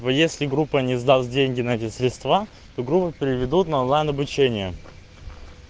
ну если группа не сдаст деньги на эти средства то группу переведут на онлайн обучение